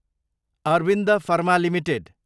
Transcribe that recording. Arvind pharma Ltd